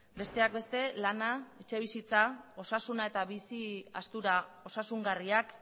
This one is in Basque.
besteak beste lana etxebizitza osasuna eta bizi aztura osasungarriak